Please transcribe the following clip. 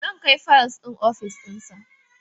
Zan kai fayil ɗin ofishin sa